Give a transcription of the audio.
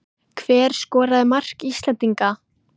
Hver skoraði mark Íslendinga?